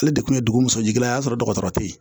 Ale de kun ye dugu musajɛla ye o y'a sɔrɔ dɔgɔtɔrɔ teyi